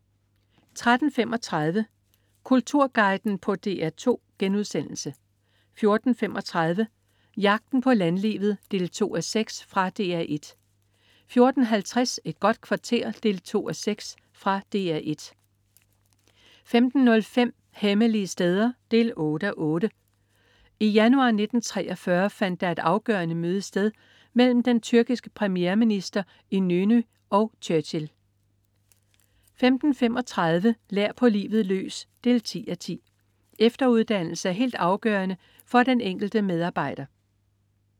13.35 Kulturguiden på DR2* 14.35 Jagten på landlivet 2:6. Fra DR 1 14.50 Et godt kvarter 2:6. Fra DR 1 15.05 Hemmelige steder 8:8. I januar 1943 fandt der et afgørende møde sted mellem den tyrkiske premierminister Inönü og Churchill 15.35 Lær på livet løs 10:10. Efteruddannelse er helt afgørende for den enkelte medarbejder